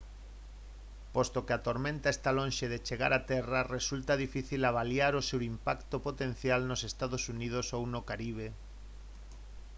posto que a tormenta está lonxe de chegar a terra resulta difícil avaliar o seu impacto potencial nos ee uu ou no caribe